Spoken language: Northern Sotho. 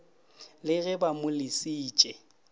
le ge ba mo lesitše